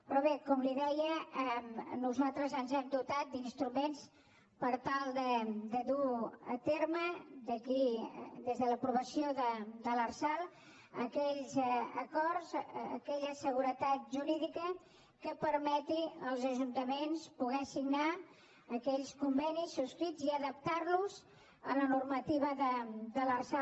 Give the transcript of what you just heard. però bé com li deia nosaltres ens hem dotat d’instruments per tal de dur a terme des de l’aprovació de l’lrsal aquells acords aquella seguretat jurídica que permeti als ajuntaments poder signar aquells convenis subscrits i adaptar los a la normativa de l’lrsal